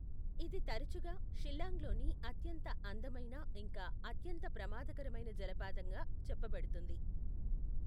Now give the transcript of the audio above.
ఇది తరచుగా షిల్లాంగ్లోని అత్యంత అందమైన ఇంకా అత్యంత ప్రమాదకరమైన జలపాతంగా చెప్పబడుతుంది.